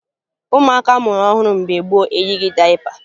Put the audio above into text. Ụmụaka a mụrụ ọhụrụ mgbe gboo eyighi dayịpa